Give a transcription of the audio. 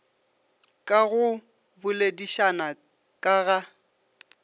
ka go boledišana ka ga